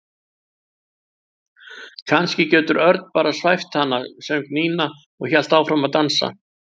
Kannski getur Örn bara svæft hana söng Nína og hélt áfram að dansa.